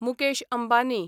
Mukesh Ambani